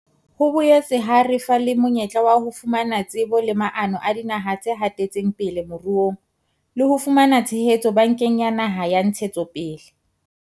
Ho boetse ha re fa le monyetla wa ho fumana tsebo le maano a dinaha tse hatetseng pele moruong le ho fumana tshehetso Bankeng ya Naha ya Ntshetsopele.